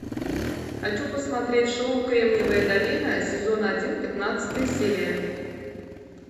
хочу посмотреть шоу кремниевая долина сезон один пятнадцатая серия